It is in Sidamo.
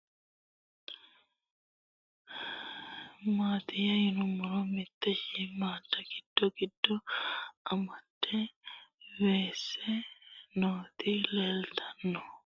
Babaxxittinno daninni biiffe aleenni hige leelittannotti tinni misile lelishshanori isi maattiya yinummoro mite shiimmadda giddo giddo mannadda weesse nootti leelittanno